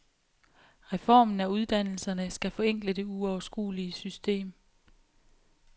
Reformen af uddannelserne skal forenkle det uoverskuelige system.